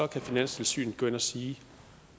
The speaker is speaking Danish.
kan finanstilsynet gå ind og sige at